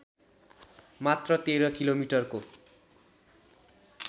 मात्र १३ किलोमीटरको